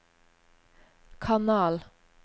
kanal